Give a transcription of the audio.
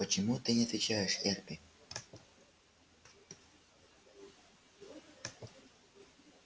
почему ты не отвечаешь эрби